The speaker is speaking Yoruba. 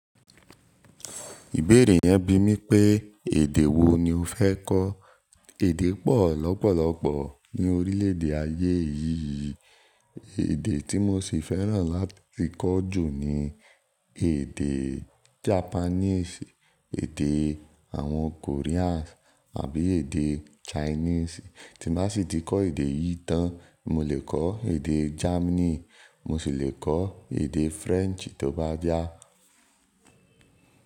Ìbéèrè yẹn bi mí pé èdè wo ni o fẹ́ kọ́? Èdè pọ̀ lọ́pọ̀lọ́pọ̀ ní orílẹ̀ èdè ayé yìí. Èdè tí mo sì fẹ́ràn láti kọ́ jù ni èdè Japanese, èdè àwọn Korean àbí èdè Chinese. Tí n bá sì ti kọ́ èdè yìí tán, mo lè kọ́ èdè Germany, mo sì le kọ́ èdè French tó bá yá.